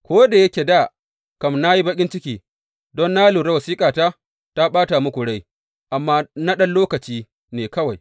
Ko da yake dā kam na yi baƙin ciki, don na lura wasiƙata ta ɓata muku rai, amma na ɗan lokaci ne kawai.